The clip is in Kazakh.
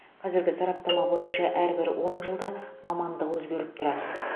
қазіргі сараптама бойынша әрбір он жылда мамандық өзгеріп тұрады